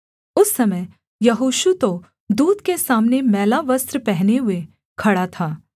उस समय यहोशू तो दूत के सामने मैला वस्त्र पहने हुए खड़ा था